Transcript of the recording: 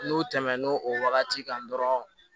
N'u tɛmɛn'o wagati kan dɔrɔn